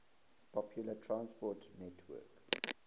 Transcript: public transport network